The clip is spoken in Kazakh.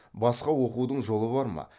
басқа оқудың жолы бар ма